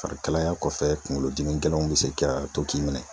Farikalaya kɔfɛ, kungolo dimi gɛlɛnw be se ka to k'i minɛ.